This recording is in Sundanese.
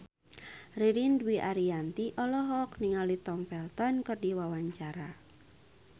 Ririn Dwi Ariyanti olohok ningali Tom Felton keur diwawancara